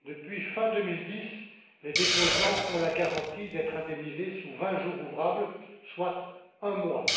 Depuis fin 2010, les déposants ont la garantie d'être indemnisés sous vingt jours ouvrables, soit un mois.